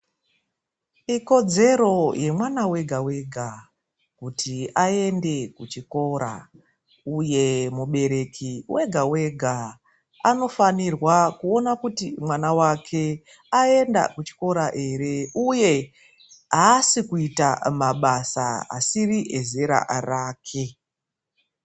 Ikodzero yemwana wega wega kuti aende kuchikora uye mubereki wega wega anofanirwa kuona kuti mwana wake aenda kuchikora ere? Uye aasi kuita mabasa asiri ezera rake.